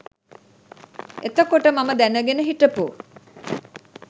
එතකොට මම දැනගෙන හිටපු